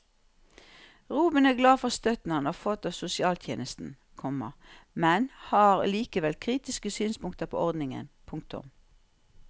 Robin er glad for støtten han har fått av sosialtjenesten, komma men har likevel kritiske synspunkter på ordningen. punktum